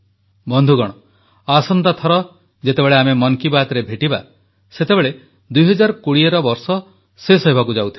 ବନ୍ଧୁଗଣ ଆସନ୍ତା ଥର ଯେତେବେଳେ ଆମେ ମନ୍ କୀ ବାତ୍ରେ ଭେଟିବା ସେତେବେଳେ 2020ର ବର୍ଷ ଶେଷ ହେବାକୁ ଯାଉଥିବ